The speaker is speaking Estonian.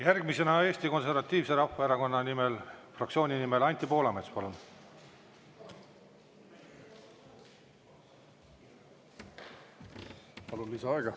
Järgmisena Eesti Konservatiivse Rahvaerakonna fraktsiooni nimel Anti Poolamets, palun!